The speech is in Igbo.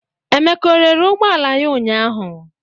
Emeka rere ụgbọ ala ya ụnyahụ?